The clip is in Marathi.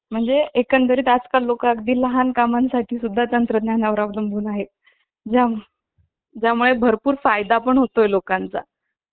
इतर कारणांमुळे जगण्याच्या साधनांची कमतरता भासू लागली की लोकांना गाव सोडून जाणे भाग पडते ग्रामवसाहती नगरे उजाड होतात